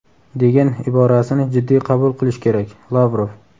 degan iborasini jiddiy qabul qilish kerak – Lavrov.